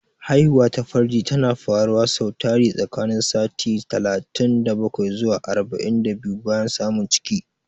Haihuwa ta farji tana faruwa sau tari tsakanin sati talatin da bakwai zuwa arba'in da biyu bayan samun ciki.